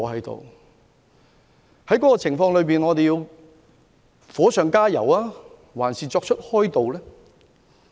在這個情況下，我們究竟要火上加油，抑或加以開導？